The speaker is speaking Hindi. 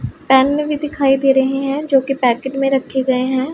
पेन भी दिखाई दे रहे हैं जो कि पैकेट में रखे गए हैं।